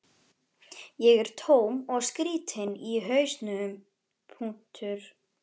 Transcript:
Ég er tóm og skrýtin í hausnum.